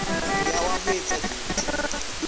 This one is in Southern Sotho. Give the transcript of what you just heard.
moya wa ho etsa dintho